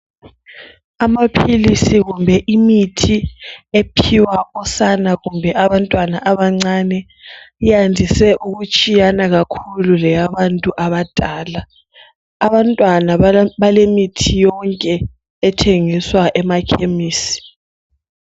Amaphilisi kumbe imithi ephiwa osana kumbe abantwana abancane iyandise ukutshiyana kakhulu leyabantu abadala. Abantwana balemithi yonke ethengiswa emakhemisi.